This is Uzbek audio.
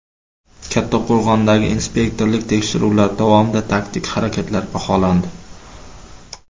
Kattaqo‘rg‘ondagi inspektorlik tekshiruvlari davomida taktik harakatlar baholandi .